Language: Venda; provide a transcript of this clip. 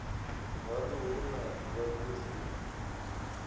haṋu hu na vhagudi na